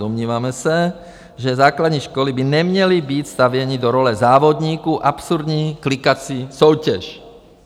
Domníváme se, že základní školy by neměly být stavěny do role závodníků absurdní klikací soutěže.